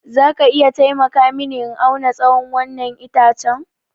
Za ka iya taimaka mini in auna tsawon wannan itacen?